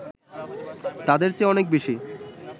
তাদের চেয়ে অনেক বেশি